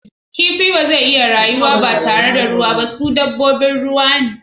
Kifi ba zai iya rayuwa ba tare da ruwa ba, su dabbobin ruwa ne.